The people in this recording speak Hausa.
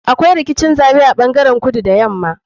Akwai rikicin zaɓe a ta ɓangaren kudu da yama.